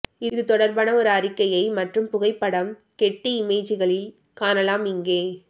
இது தொடர்பான ஒரு அறிக்கையை மற்றும் புகைப்படம் கெட்டி இமேஜ்களில் காணலாம் இங்கே